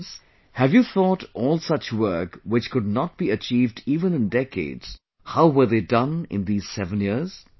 Friends, have you thought all such work which could not be achieved even in decades, how were they done in these 7 years